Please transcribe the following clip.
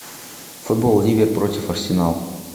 футбол ливер против арсенал